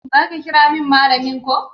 Zo ka kiramin malamin ko